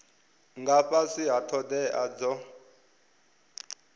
nga fhasi ha thodea dzo